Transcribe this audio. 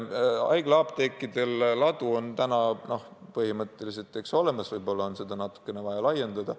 Haiglaapteekidel ladu on põhimõtteliselt olemas, võib-olla on seda vaja natukene laiendada.